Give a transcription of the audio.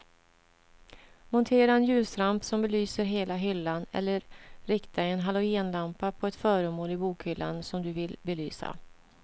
Montera en ljusramp som belyser hela hyllan eller rikta en halogenlampa på ett föremål i bokhyllan som du vill belysa.